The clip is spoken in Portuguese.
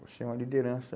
Você é uma liderança.